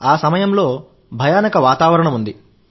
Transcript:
ఆ సమయంలో భయానక వాతావరణం ఉంది